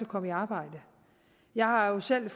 komme i arbejde jeg har selv